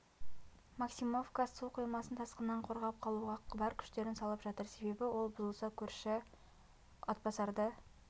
максимовка су қоймасын тасқыннан қорғап қалуға бар күштерін салып жатыр себебі ол бұзылса көрші атбасарды